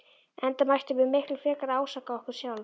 Enda mættum við miklu frekar ásaka okkur sjálf.